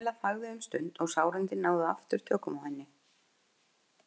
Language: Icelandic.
Kamilla þagði um stund og sárindin náðu aftur tökum á henni.